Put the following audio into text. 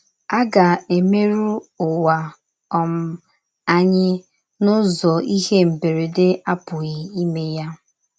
Ágà èmèrù Ụ̀wà um ànyì n’ụ́zọ íhè mbèrèdè apùghì ímè ya.